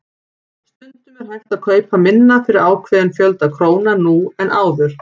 Stundum er hægt að kaupa minna fyrir ákveðinn fjölda króna nú en áður.